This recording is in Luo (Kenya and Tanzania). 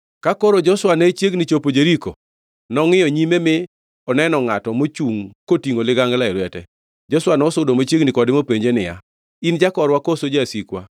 Ka koro Joshua ne chiegni chopo Jeriko, nongʼiyo nyime mi oneno ngʼato mochungʼ kotingʼo ligangla e lwete. Joshua nosudo machiegni kode mopenje niya, “In jakorwa koso jasikwa?”